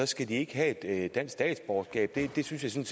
skal de ikke have dansk statsborgerskab det synes jeg